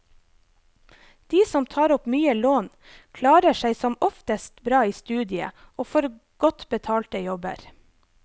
De som tar opp mye lån, klarer seg som oftest bra i studiet, og får godt betalte jobber.